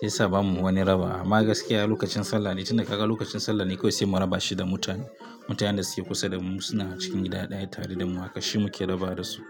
sai sa bamu wani raba. Amma gaskiya lokacin Sallah ne, inda kaga lokacin Sallah ne kawai sai mu rabashi da mutane. Mutanen da suke kusa da mu suna cikin gida ɗaya tare da mu haka shi muke rabawa da su.